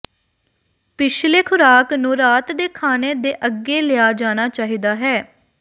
ਪਿਛਲੇ ਖ਼ੁਰਾਕ ਨੂੰ ਰਾਤ ਦੇ ਖਾਣੇ ਦੇ ਅੱਗੇ ਲਿਆ ਜਾਣਾ ਚਾਹੀਦਾ ਹੈ